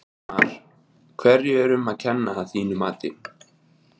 Ingimar: Hverju er um að kenna að þínu mati?